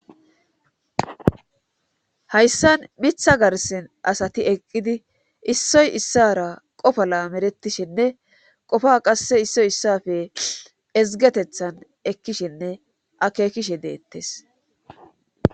hayssan mitha garsin asati eqqidi issoy issara qofa lamerettishinne qofa qasse issoy issafe ezgetethan ekkishinne akekishe deettes